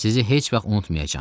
Sizi heç vaxt unutmayacağam.